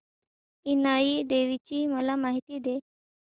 इनाई देवीची मला माहिती दे